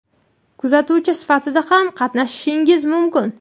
kuzatuvchi sifatida ham qatnashishingiz mumkin.